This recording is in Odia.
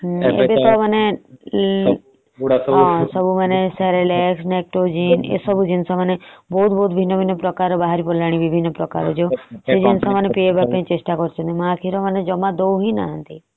ଏବେ ତ ମାନେ ସବୁ ମାନେ cerelac lectogen ଏସବୁ ଜିନିଷ ମାନେ ବହୁତ ଭିନ୍ନ ଭିନ୍ନ ଜିନିଷ ବହରିଗଲାଣି। ସେ ଜିନିଷ ସବୁ ପିଏଇବାକୁ ଚେଷ୍ଟା କରୁଛନ୍ତି। ମା କ୍ଷୀର ଦଉ ହିଁ ନାହାନ୍ତି।